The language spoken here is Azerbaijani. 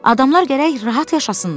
Adamlar gərək rahat yaşasınlar.